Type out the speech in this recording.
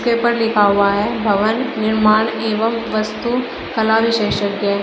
Paper लिखा हुआ है भवन निर्माण एवं वास्तु कला विशेषज्ञ।